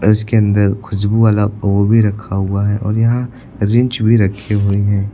अ इसके अंदर खुशबू वाला ओ भी रखा हुआ है और यहां रिंच भी रखी हुई है।